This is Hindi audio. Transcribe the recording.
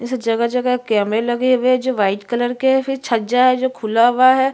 इस जगह-जगह कैमरे लगे हुए है जो व्हाइट कलर के है फिर छज्जा है जो खुला हुआ है।